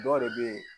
Dɔw yɛrɛ be yen